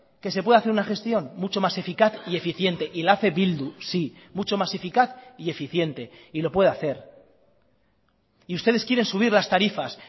que se puede hacer una gestión mucho más eficaz y eficiente y la hace bildu sí mucho más eficaz y eficiente y lo puede hacer y ustedes quieren subir las tarifas